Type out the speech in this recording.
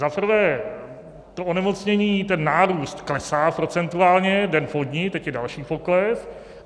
Za prvé to onemocnění, ten nárůst klesá procentuálně, den po dni, teď je další pokles.